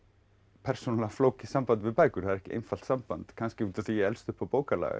persónulega flókið samband við bækur það er ekki einfalt samband kannski út af því að ég elst upp á